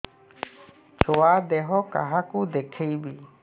ଛୁଆ ଦେହ କାହାକୁ ଦେଖେଇବି